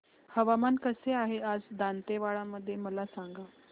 हवामान कसे आहे आज दांतेवाडा मध्ये मला सांगा